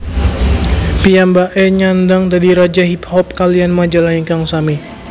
Piyambake nyandhang dadi Raja Hip Hop kaliyan majalah ingkang sami